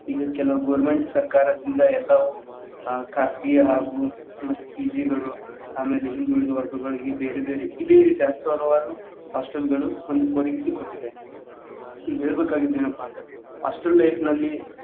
ಇನ್ನು ಕೆಲವೊಂದ್ government ಸರ್ಕಾರದಿಂದ ಎಲ್ಲಾ ಆ ಖಾಸಗಿ ಹಾಗು ಮತ್ತ್ PG ಗಳು ಅಮ್ಯಾಲ ಹಿಂದೂಳಿದ ವರ್ಗಗಳಿಗೆ ಬೇರೆ ಬೇರೆ ಇದೆ ರೀತಿ ಹತ್ತು ಹಲವಾರು hostel ಗಳು ಒದಗಿಸಿ ಕೊಟ್ಟಿದೆ ಈಗ ಹೇಳಬೇಕಾಗಿದ್ದ್ ಏನಪ್ಪಾ ಅಂತ ಅಂದ್ರೆ hostel life ನಲ್ಲಿ.